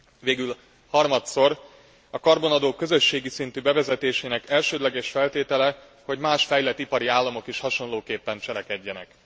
Végül harmadszor, a karbonadó közösségi szintű bevezetésének elsődleges feltétele, hogy más fejlett ipari államok is hasonlóképpen cselekedjenek.